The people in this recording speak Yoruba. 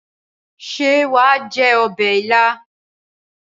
Ṣé wàá jẹ ọbẹ̀ ilá?